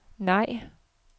nej